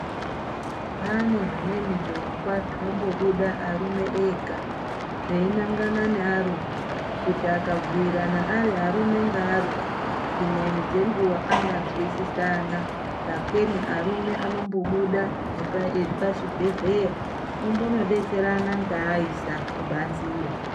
Pane zvimweni zvirongwa zvinombobuda arume ega zveinangana nearume kuti akabhuyirana ari arume ngearume dzimweni dzenguwa angonzwisisana sakeni arume anombobuda epazvibhehleya ombonodetserana ngeaisa kubanziyo.